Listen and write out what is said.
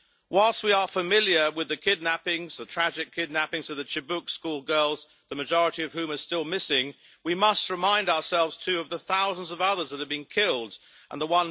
Whilst we are familiar with the tragic kidnapping of the Chibok schoolgirls, the majority of whom are still missing, we must remind ourselves too of the thousands of others that have been killed and the